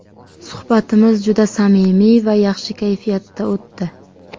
Suhbatimiz juda samimiy va yaxshi kayfiyatda o‘tdi.